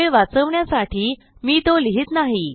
वेळ वाचवण्यासाठी मी तो लिहित नाही